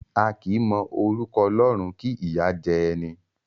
A kì í mọ orúkọ Ọlọ́run kí ìyá jẹ ẹni.